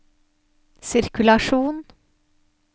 sirkulasjon